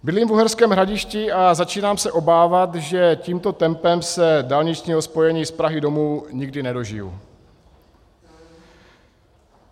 Bydlím v Uherském Hradišti a začínám se obávat, že tímto tempem se dálničního spojení z Prahy domů nikdy nedožiji.